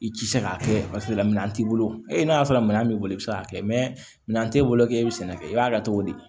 I ti se k'a kɛ paseke la minɛn t'i bolo e n'a y'a sɔrɔ minɛn b'i bolo i bɛ se k'a kɛ mɛ minɛn t'e bolo k'e bɛ sɛnɛ kɛ i b'a kɛ cogo di